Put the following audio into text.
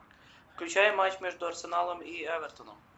включай матч между арсеналом и эвертоном